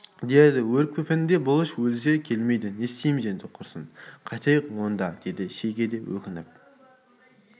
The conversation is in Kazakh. деді өрекпіпенді бұлыш өлсе келмейді не істейміз енді құрысын қайтайык онда деді шеге де өкініп